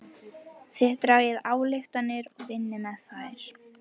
Þið dragið ályktanir og vinnið með þær.